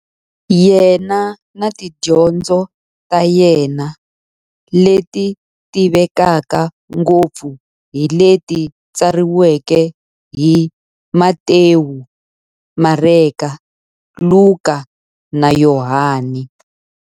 Yena na tidyondzo ta yena, leti tivekaka ngopfu hi leti tsariweke hi-Matewu, Mareka, Luka, na Yohani.